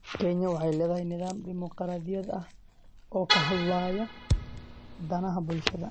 Kenya waxay leedahay nidaam dimuqraadi ah oo ka hadlaya danaha bulshada.